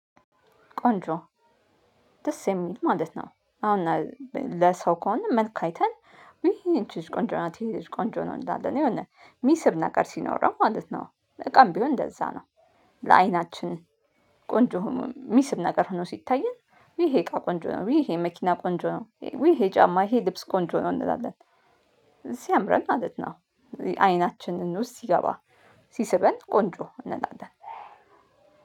ቆንጆ! ደስ የሚል ማለት ነው። አሁን ለሰው ከሆነ መልክ አይተን ውይ ይቺ ልጅ ቆንጆ ናት። ይሄ ልጅ ቆንጆ ነው። እንላለን የሆነ ሚስብ ነገር ሲኖረው ማለት ነው። እቃም ቢሆን እንደዛ ነው። ለአይናችን ቆንጆ የሚስብ ነገር ሆኖ ሲታየን ይሄ እቃ ቆንጆ ነው፣ ይሄ መኪና ቆንጆ ነው፣ ይሄ ጫማ፣ ይሄ ልብስ ቆንጆ ነው እንላለን። ሲያምረን ማለት ነው። አይናችንን ውስጥ ሲገባ ሲስበን ቆንጆ እንላለን።